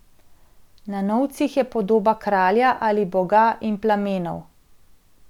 Na novcih je podoba kralja ali boga in plamenov.